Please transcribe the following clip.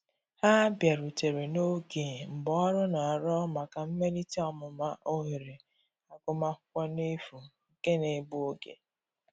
Ha biarutere n'oge mgbaọrụ n'arọ maka mmelite ọmụma ohere agụma akwụkwo n'efu nke na egbụ oge.